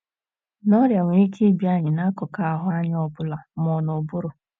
n'Ọrịa nwere ike ịbịa anyị n’akụkụ ahụ́ anyị ọ bụla, ma n’ụbụrụ.